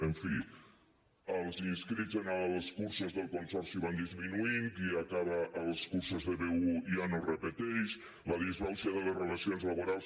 en fi els inscrits en els cursos del consorci van disminuint qui acaba els cursos de b1 ja no repeteix la disbauxa de les relacions laborals